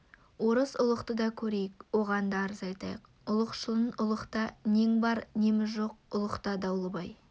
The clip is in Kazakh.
орыс ұлықты да көрейік оған да арыз айтайық ұлықшылын ұлықта нең бар неміз жоқ ұлықта дауылбай